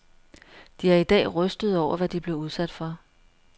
De er i dag rystede over, hvad de blev udsat for.